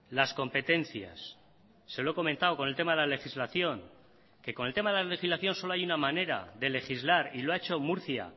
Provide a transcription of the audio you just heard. las competencias se lo he comentado con el tema de la legislación que con el tema de la legislación solo hay una manera de legislar y lo ha hecho murcia